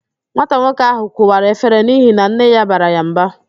Nwata nwoke ahụ kụwara efere n'ihi na nne ya bara ya mba